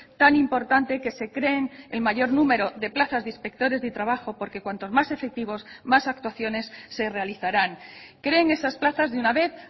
tan importante que se creen el mayor número de plazas de inspectores de trabajo porque cuantos más efectivos más actuaciones se realizarán creen esas plazas de una vez